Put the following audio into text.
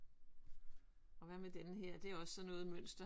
Og hvad med denne her det er også sådan noget mønster?